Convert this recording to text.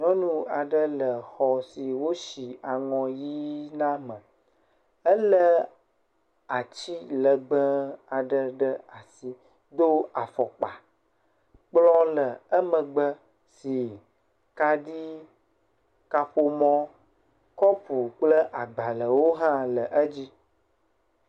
Nyɔnu aɖe le xɔ si wosi aŋɔ ʋɛ̃ na me. Elé ati legbee aɖe ɖe asi, do afɔkpa, kplɔ le emegbe si kaɖi, kaƒomɔ, kɔpu kple agbalẽwo hã le edzi.